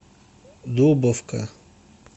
дубовка